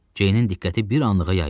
Ceynin diqqəti bir anlığa yayıldı.